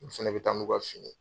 Olu fɛnɛ bi taa n'u ka fini.